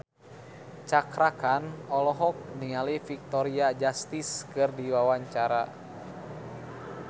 Cakra Khan olohok ningali Victoria Justice keur diwawancara